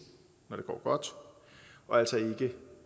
når det går godt og altså ikke